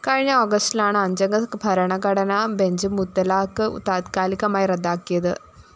കഴിഞ്ഞ ഓഗസ്റ്റിലാണ് അഞ്ചംഗ ഭരണഘടനാ ബെഞ്ച്‌ മുത്തലാഖ് താത്കാലികമായി റദ്ദാക്കിയത്